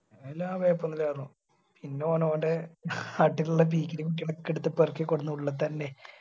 പിന്നെല്ല കൊയപ്പൊന്നുല്ലയിരുന്നു പിന്നാ ഓന് ഓന്റെ നാട്ടിലിലുള്ള പീക്കിരി കുട്ടികളെ ഒക്കെ എടുത്ത് പെറുക്കി കൊണ്ടുവന്നു ഉള്ളിതന്നെ.